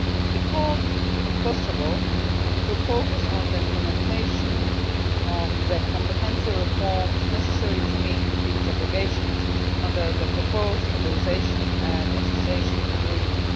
We called on Kosovo to focus on implementation of the comprehensive reforms necessary to enable it to meet its obligations under the proposed Stabilisation and Association Agreement.